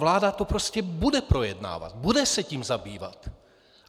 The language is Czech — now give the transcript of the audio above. Vláda to prostě bude projednávat, bude se tím zabývat.